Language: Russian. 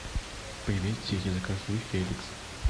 привет сири закажи феликс